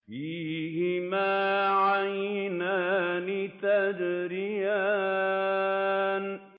فِيهِمَا عَيْنَانِ تَجْرِيَانِ